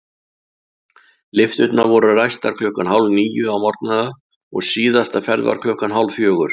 Lyfturnar voru ræstar klukkan hálfníu á morgnana og síðasta ferð var klukkan hálffjögur.